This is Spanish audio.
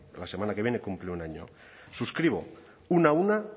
la semana que viene cumple un año suscribo una a una